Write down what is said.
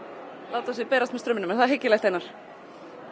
láta sig berast með straumnum er það hyggilegt Einar